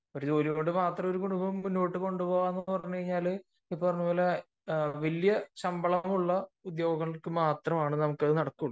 ജോലികൊണ്ട് മാത്രം ഒരു കുടുംബം മുന്നോട്ട് കൊണ്ടുപോവുക എന്നുള്ളത് ഇപ്പറഞ്ഞതുപോലെ വലിയ ശമ്പളമുള്ള ഉദ്യോഗങ്ങൾക്ക് മാത്രമേ നടക്കുകയുള്ളൂ